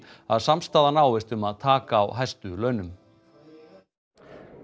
að samstaða náist um að taka á hæstu launum